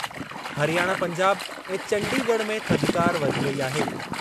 हरियाणा पंजाब ऐं चंडीगढ़ में थधिकार वधी वेई आहे।